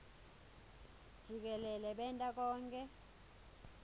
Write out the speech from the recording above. jikelele benta konkhe